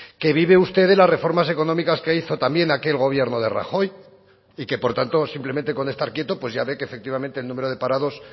que vive usted de las reformas económicas que hizo también aquel gobierno de rajoy y que por tanto simplemente con estar quieto pues ya ve que efectivamente el número de parados